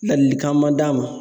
Ladilikan man d'a ma